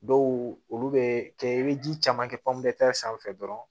Dɔw olu bɛ kɛ i bɛ ji caman kɛ sanfɛ dɔrɔn